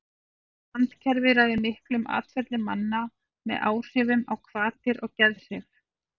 randkerfið ræður miklu um atferli manna með áhrifum á hvatir og geðhrif